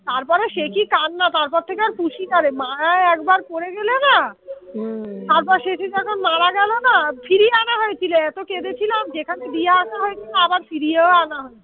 তারপরে সে কি কান্না তারপর থেকে আর পুষি না রে মা একবার পড়ে গেলে না হম তারপর সেদিন যখন মারা গেল না ফিরিয়ে আনা হয়েছিল এত কেঁদেছিলাম যেখানে দিয়ে আসা হয়েছিল আবার ফিরিয়েও আনা হয়েছিল